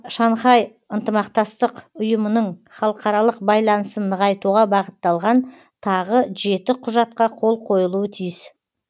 шанхай ынтымақтастық ұйымының халықаралық байланысын нығайтуға бағытталған тағы жеті құжатқа қол қойылуы тиіс